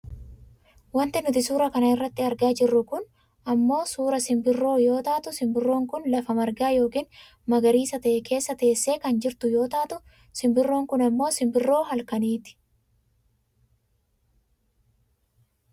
Wanti nuti suuraa kana irratti argaa jirru kun ammoo suuraa simbirroo yoo taatu simbirroon kun lafa margaa yookiin magariisa ta'e keessa teessee kan jirtu yoo taatu , simbirroon kun ammoo simbirroo halkaniiti.